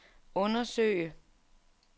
undersøge